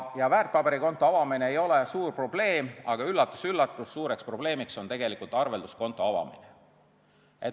Väärtpaberikonto avamine ei ole suur probleem, aga, üllatus-üllatus, suur probleem on arvelduskonto avamine.